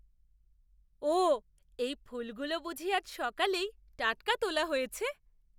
ওঃ! এই ফুলগুলো বুঝি আজ সকালেই টাটকা তোলা হয়েছে?